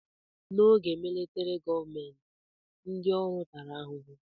N'oge militrị gọọmenti, ndị ọrụ tara ahụhụ.